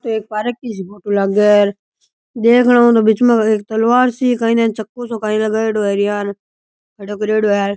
एक पार्क की सी फोटो लागे है देखने में तो बीच में एक तलवार सी एक चक्कू सो काईन लगारीडो है --